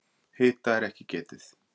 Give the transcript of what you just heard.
Hita er ekki getið.